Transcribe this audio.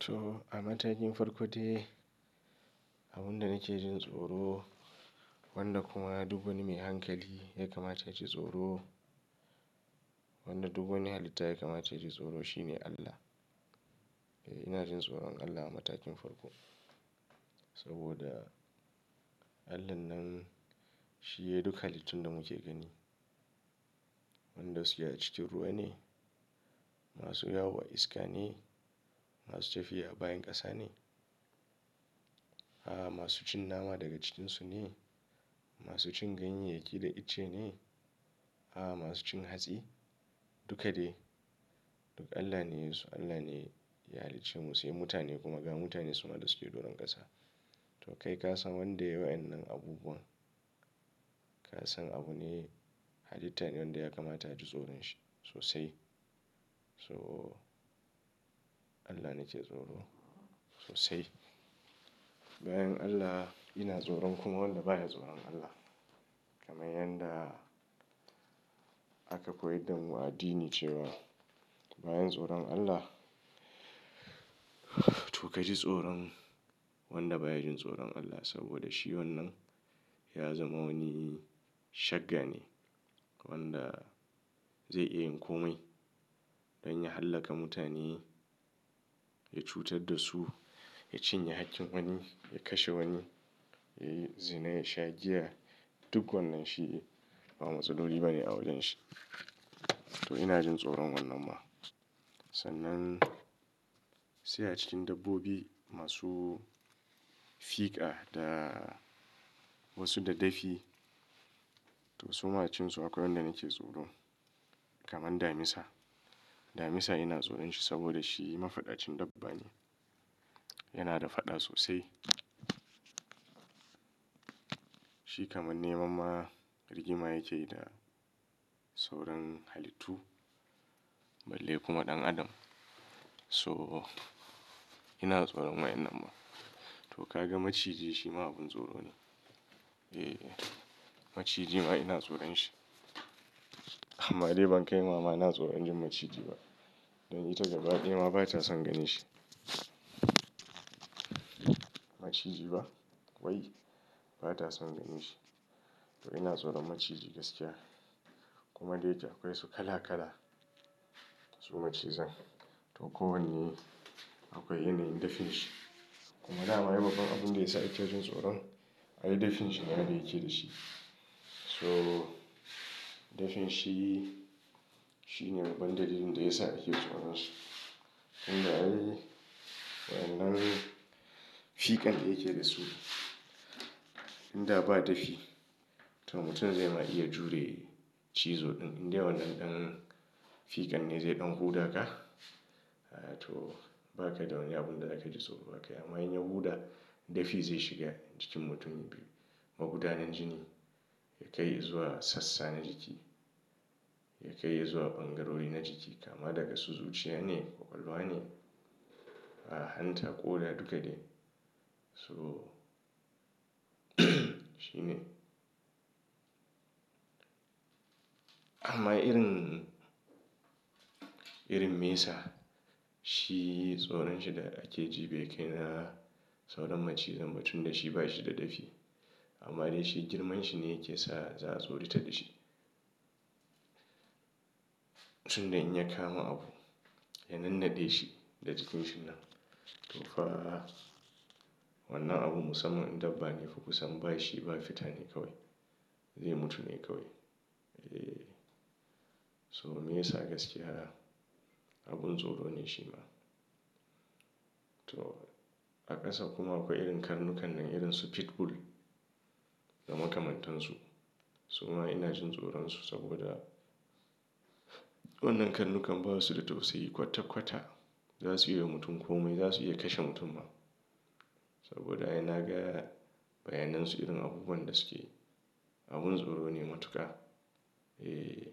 To a matakin farko dai abin da nake jin tsoro, wanda kuma duk wani mai hankali ya kamata ya ji tsoro. Wanda duk wani halitta ya kamata ya ji tsoro shine Allah. Eh ina jin tsoron Allah a matakin farko saboda Allahn nan shi ne duk halittun da muke gani. Wadanda suke a cikin ruwa ne, masu yawo a iska ne, masu tafiya a bayan ƙasa ne. A'a masu cin nama daga cikinsu ne, masu cin ganye, yake da itace ne. A'a masu cin hatsi duka dai duk Allah ne ya yi su. Allah ne ya halicce mu sai mutane kuma ga mutane suna da suke doron ƙasa. To kai ka san wanda ya yi wa'inan abubuwan. Ka san abune halitta ne wanda ya kamata ya ji tsoron shi sosai. So Allah nake tsoro sosai. Bayan Allah ina tsoron kuma wanda baya tsoron Allah kamar yanda aka koyar da mu a addini cewa bayan tsoron Allah to ka ji tsoron wanda baya jin tsoron Allah saboda shi wannan ya zama wani shaga ne wanda zai iya yin komai don ya hallaka mutane, ya cutar da su, ya cinye haƙƙin wani, ya kashe wani, ya yi zina, ya sha giya duk wannan shi ba matsaloli bane a wajen shi. To ina jin tsoron wannan ma. Sannan sai a cikin dabbobi masu fiƙa da wasu da dafi. To su macen su akwai wanda nake tsoro kamar damisa. Damisa ina tsoron shi saboda shi mafadacin dabba ne. Yana da faɗa sosai. Shi kamar neman ma rigima yake yi da sauran halittu balle kuma ɗan adam. So ina tsoron wa'inan ma. To ka ga maciji shi ma abin tsoro ne. Eh maciji ma ina tsoron shi amma dai ban kai ma ma ina tsoron jin maciji ba dan ita gabaɗaya ma ba ta son ganin shi. Maciji ba wai ba ta son ganin shi. To ina tsoron maciji gaskiya kuma dai akwai su kala kala su macizan. To kowanne akwai yanayin dafin shi kuma dama wai babban abin da ya sa ake jin tsoron ai dafin shi ne da yake da shi. So dafin shi, shi ne babban dalilin da ya sa ake tsoron su. Inda ai wannan fiƙan da yake da su, inda ba dafi to mutum zai ma iya jure cizoɗin inda wannan ɗan fiƙan ne zai ɗau huda ka. To ba ka da wani abin da za ka ji tsoro ba ka. Amma in ya huda dafi zai shiga cikin mutum biyu magudanin jini ya kai zuwa sassa na jiki, ya kai zuwa ɓangarori na jiki kama daga su zuciya ne, kwakwalwa ne, a hanta ko da duk da dai. So shi ne. Amma irin, irin mesa shi tsoron shi da ake ji bai kai na sauran macizan ba tunda shi ba shi da dafi. Amma dai shi girman shi ne yake sa za su rita da shi. Tunda in ya kama abu ya nannade shi da jikin shi nan to fa wannan abu musamman in dabba ne fukusan bashi ba fita ne kawai. Zai mutu ne kawai. Eh so mesa gaskiya abin tsoro ne shi ma. To a ƙasa kuma akwai irin karnukan nan irin su pitbull da makamantansu. Su ma ina jin tsoron su saboda wannan karnukan ba su da tausayi kwata kwata za su iya yi wa mutum komai. Za su iya kashe mutum ma saboda ina gaya bayanansu irin abubuwan da suke abin tsoro ne matuka. Eh